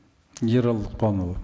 ералы лұқпанұлы